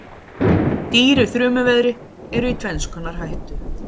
Dýr í þrumuveðri eru í tvenns konar hættu.